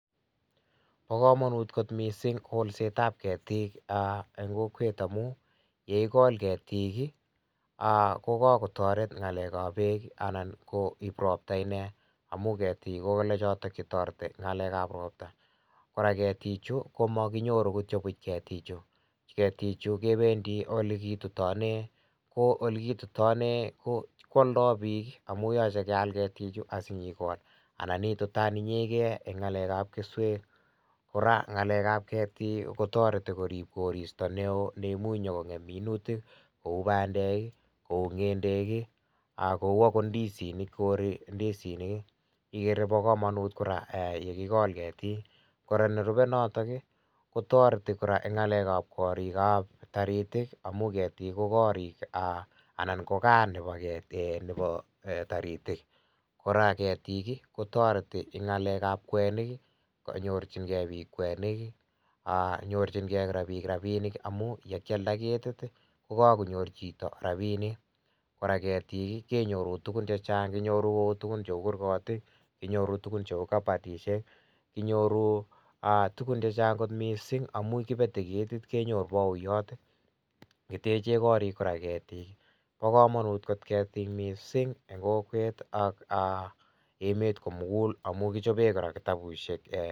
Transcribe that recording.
Bo kamanut kot mising kolsetab ketiik eng kokwet amu ye igol ketiik, ko kakotaret ngalekab beek anan ko ipu ropta inne amu ketik kochote che toreti ngalekab ropta. Kora ketichu komaginyoru kityo buch ketichu. Ketichu kebendi olekitane ko olekitutane kwaldo biik amu yoche keal ketichu asinyigol anan itutan inyege eng ngalekab keswek. Kora ngalekab ketiik kotoreti korip koristo neo ne imunyongem minutik, kou bandek, kou ngendek, kou agot ndisinik, koiri ndisinik. Igere bo kamanut kora yekigol ketiik. Kora nerupe notok ii kotoreti kora eng ngalekab korikab karit ii, amu ketik ko korik anan ko kaa nebo taritik. Kora ketik kotoreti eng ngalekab kwenik. Konyorchinge biik kwenik, nyorchinge biik rapinik amu yekialda ketit, kokagonyor chito rapinik. Kora ketik kenyoru tugul che chang. Kinyoru kutugun cheu kurgotik, kinyoru tugun cheu kapatisiek, kinyoru tugun che chang kot mising amu kipete ketit kenyoru bagoyot. Kiteche korik kora ketiik. Bo kamanut kot ketiik mising eng kokwet ak emet komugul amu kichobe kora kitabusiek ee.